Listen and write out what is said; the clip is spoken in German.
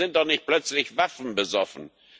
Wir sind doch nicht plötzlich waffenbesoffen!